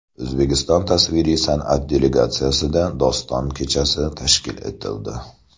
O‘zbekiston tasviriy san’at galereyasida doston kechasi tashkil etildi.